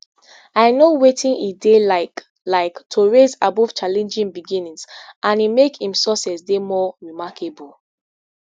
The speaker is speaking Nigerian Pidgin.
i know wetin e dey like like to rise above challenging beginnings and e make im success dey more remarkable